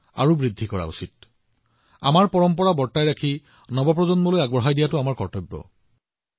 আমাৰ সকলোৰে কৰ্তব্য হৈছে আমাৰ ঐতিহ্য কঢ়িয়াই অনা আমাৰ ঐতিহ্য সংৰক্ষণ কৰা নতুন প্ৰজন্মক প্ৰদান কৰা আৰু ভৱিষ্যত প্ৰজন্মৰ ইয়াৰ ওপৰত অধিকাৰো আছে